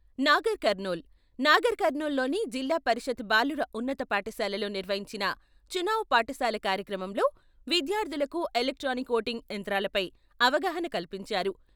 నాగర్ కర్నూల్, నాగర్ కర్నూల్‌లోని జిల్లా పరిషత్ బాలుర ఉన్నత పాఠశాలలో నిర్వహించిన చునావ్ పాఠశాల కార్యక్రమంలో విద్యార్థులకు ఎలక్ట్రానిక్ ఓటింగ్ యంత్రాలపై అవగాహన కల్పించారు.